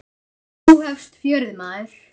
Nú hefst fjörið, maður.